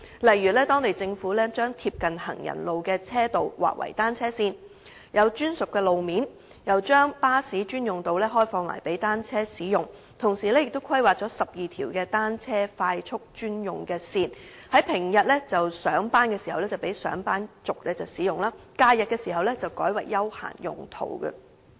例如，當地政府將貼近行人路的車道劃為單車線，有專屬路面，又將巴士專用道路開放給單車使用，同時亦規劃了12條單車快速專用線，在平日上班時讓上班族使用，假日時則改為休閒用途。